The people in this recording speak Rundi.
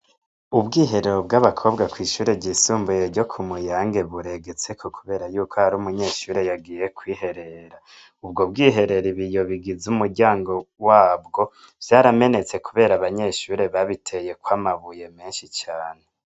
Ubwiherero bwabakobwa kwishure ryisumbuye ryo Kumuyange buregetseko kuberayuko hariho umunyeshure yagiye kwiherera, ubwo bwiherero ibiyo bigize umuryango wabwo vyaramenetse kubera abanyeshure babiteyeko amabuye menshi cane.